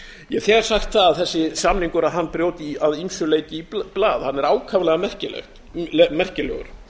ég hef þegar sagt að þessi samningur brjóti að ýmsu leyti í blað hann er ákaflega merkilegur